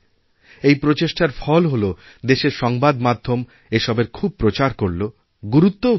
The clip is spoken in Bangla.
এই প্রচেষ্টার ফল হলো দেশের সংবাদ মাধ্যম এসবের খুবপ্রচার করলো গুরুত্বও দিয়েছে